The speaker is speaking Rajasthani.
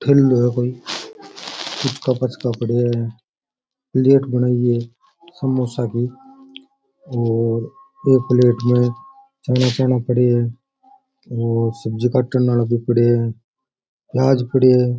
ठण्ड है कोइ पुचका पाचका पड़े है समोसा भी है और एक प्लेट में चना चना पड़ा है और सब्जी काटना वाले भी पड़ा है प्याज पड़े है।